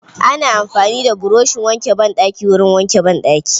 Ana amfani da buroshin wanke banɗaki wurin wanke banɗaki.